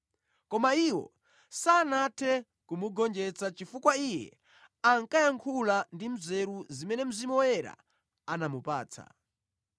Koma iwo sanathe kumugonjetsa chifukwa iye ankayankhula ndi nzeru zimene Mzimu Woyera anamupatsa.